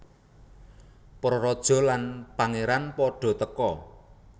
Para raja lan pangeran pada teka